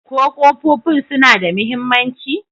Ko ƙofofin suna da mahimmanci?